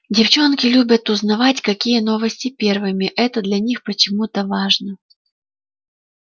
девчонки любят узнавать какие новости первыми это для них почему-то важно